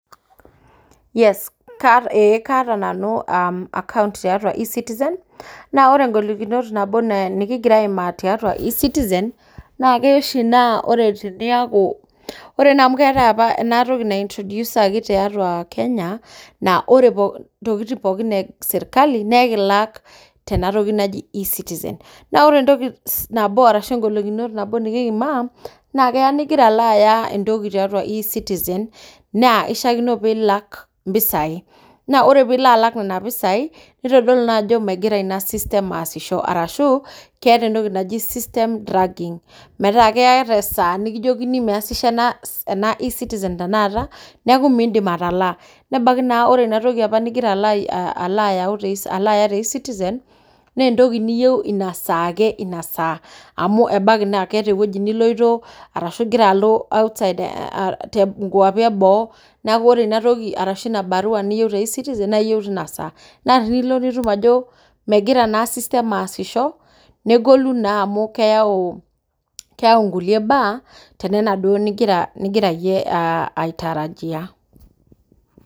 Yes ee kaata nanu account tiatua ecitizen, naa ore ngolikinot nikingira aaimaa tiaatua ecitizen naa keya oshi naa ore teniyaku ore naa amuu keetae enatoki naintrodusaki tiatua Kenya naa ore ntokitin esirkali naa ekilak tena toki naji ecitizen. Naa ore ngolikinot nikimaa naa keya nigira alo aya entoki te ecitizen, naa ishaakino pee ilak impisai naa ore piilo alak nena pisai neitodolu naa aajo negira ina system aasisho, arashu keeta entoki naaji system dragging naa ketii esaa nikijokini meesisho enatoki, neeku miindim atalaa, nebaiki naa ore entoki nigira alaaya te ecitizen nebaiki naa inasaa, ebaiki naa keeta eniyieu nilo ebaiki niloito nkuapi eboo iyieu nilo, naa ecitizen naaji iyieu teina saa naa tenilo nidol ajo negira ina system aasisho naa kiaaku nkulie baa tenana duo nimigira aitarajia.